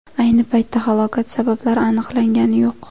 Ayni paytda halokat sabablari aniqlangani yo‘q.